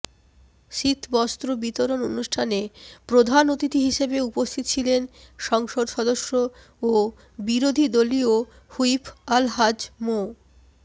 শীতবস্ত্র বিতরণ অনুষ্ঠানে প্রধান অতিথি হিসেবে উপস্থিত ছিলেন সংসদ সদস্য ও বিরোধীদলীয় হুইপ আলহাজ্ব মো